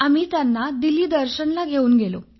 आम्ही त्यांना दिल्ली दर्शन ला घेऊन गेलो